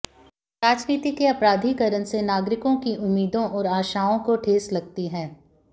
राजनीति के आपराधिकरण से नागरिकों की उम्मीदों और आशाओं को ठेस लगती है